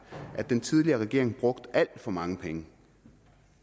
i at den tidligere regering brugte alt for mange penge